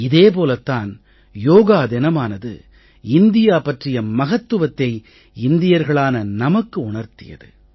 இதே போலத் தான் யோகா தினமானது இந்தியா பற்றிய மகத்துவத்தை இந்தியர்களான நமக்கு உணர்த்தியது